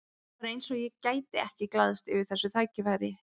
Það var eins og ég gæti ekki glaðst yfir þessu tækifæri.